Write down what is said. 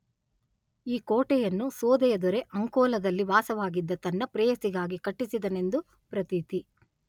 ಈ ಕೋಟೆಯನ್ನು ಸೋದೆಯ ದೊರೆ ಅಂಕೋಲದಲ್ಲಿ ವಾಸವಾಗಿದ್ದ ತನ್ನ ಪ್ರೇಯಸಿಗಾಗಿ ಕಟ್ಟಿಸಿದನೆಂದು ಪ್ರತೀತಿ.